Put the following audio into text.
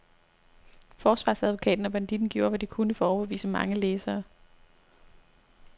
Forsvarsadvokaten og banditten gjorde, hvad de kunne for at overbevise mange læsere.